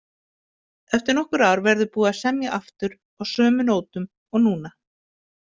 Eftir nokkur ár verður búið að semja aftur, á sömu nótum og núna.